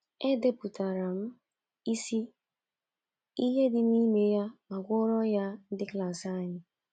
Edepụtara m isi ihe dị n’ime ya ma gụọrọ ya ndị klas anyị.